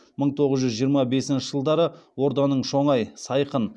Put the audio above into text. мың тоғыз жүз жиырма бесінші жылдары орданың шоңай сайқын